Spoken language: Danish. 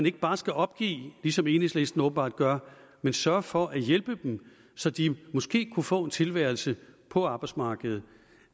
ikke bare skal opgive ligesom enhedslisten åbenbart gør men sørge for at hjælpe så de måske kunne få en tilværelse på arbejdsmarkedet